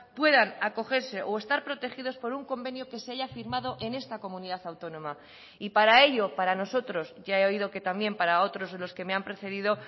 puedan acogerse o estar protegidos por un convenio que se haya firmado en esta comunidad autónoma y para ello para nosotros ya he oído que también para otros de los que me han precedido